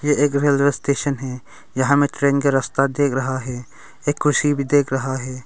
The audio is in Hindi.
एक रेलवे स्टेशन है यहां हमें ट्रेन का रस्ता दिख रहा है एक कुर्सी भी दिख रहा है।